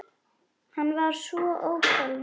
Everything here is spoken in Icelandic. Hann var svo ótal margt.